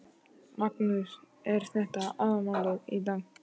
Magnús: Er þetta aðalmálið í dag?